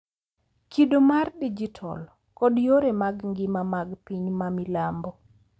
Kido mar dijital, kod yore mag ngima mag piny ma milambo.